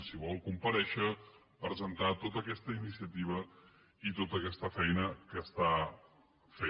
si vol comparèixer presentar tota aquesta iniciativa i tota aquesta feina que està fent